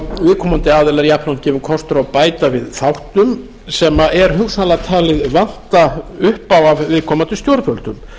viðkomandi aðilum jafnframt gefinn kostur á að bæta við þáttum sem er hugsanlega talið vanta upp á af viðkomandi stjórnvöldum